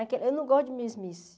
Eu não gosto de mesmice.